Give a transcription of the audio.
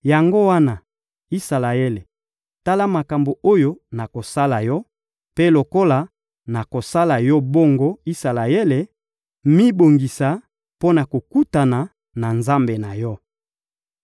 «Yango wana, Isalaele, tala makambo oyo nakosala yo! Mpe lokola nakosala yo bongo, Isalaele, mibongisa mpo na kokutana na Nzambe na yo.»